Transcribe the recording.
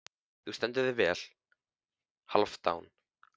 Þú stendur þig vel, Hálfdán!